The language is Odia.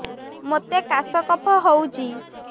ମୋତେ କାଶ କଫ ହଉଚି